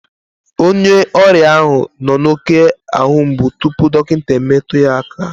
Onye ọrịa ahụ nọ n'oké ahu mgbu tupu dọkịta emetụ ya aka